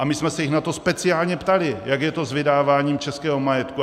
A my jsme se jich na to speciálně ptali, jak je to s vydáváním českého majetku.